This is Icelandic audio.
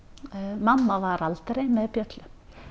mamma var aldrei með bjöllu